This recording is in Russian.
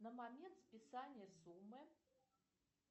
на момент списания суммы